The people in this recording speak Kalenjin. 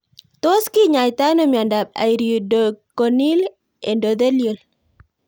Tos kinyaitoi ano miondop iridocorneal endothelial